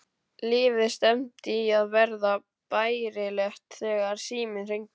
Lífið stefndi í að verða bærilegt þegar síminn hringdi.